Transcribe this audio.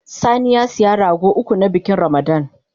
Sani ya siya rago uku, na bikin Ramada